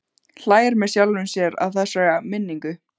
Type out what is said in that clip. Hlær með sjálfum sér að þessari minningu.